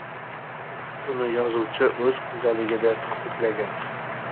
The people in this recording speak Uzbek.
Buni yozuvchi o‘z kundaligida ta’kidlagan.